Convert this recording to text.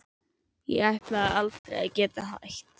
Ég ætlaði aldrei að geta hætt.